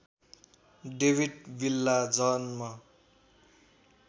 डेविट विल्ला जन्म